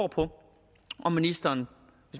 på om ministeren